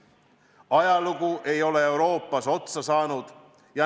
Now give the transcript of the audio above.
Ajalugu ei ole Euroopas otsa saanud.